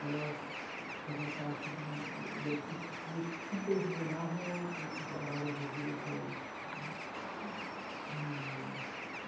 Ela fazia parte de um da equipe que suber supervisionava o o o trabalho dos diretores né e.